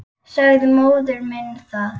Sagði móður minni það.